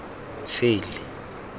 sele